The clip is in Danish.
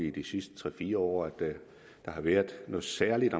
i de sidste tre fire år der har været noget særligt